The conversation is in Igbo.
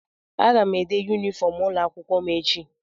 Aga m ede yunifọm ụlọakwụkwọ m echi.